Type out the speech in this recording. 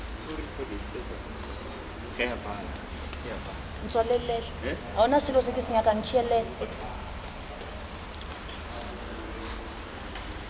puso kgotsa motho ope yo